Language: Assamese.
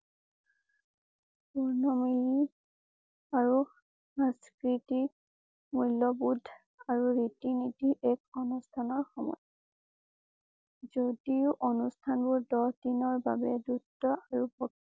পূৰ্ণ মানি আৰু সংস্কৃতি মূল্যবোধ আৰু ৰীতি নীতি এক অনুষ্ঠানৰ সময় যদিও অনুষ্ঠান বোৰ দহ দিনৰ বাবে দুষ্ট আৰু